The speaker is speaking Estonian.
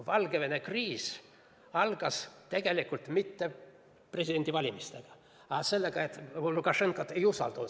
Valgevene kriis ei alanud tegelikult mitte presidendivalimistega, vaid sellega, et Lukašenkat ei usaldatud.